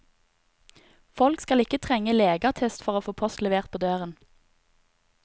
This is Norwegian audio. Folk skal ikke trenge legeattest for å få post levert på døren.